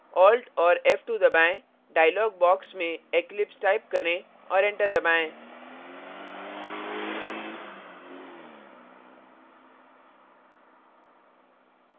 alt + f2 दबाएं dialog box में eclipse type करें और enter दबाएं